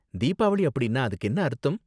தீபாவளி அப்படின்னா அதுக்கு என்ன அர்த்தம்?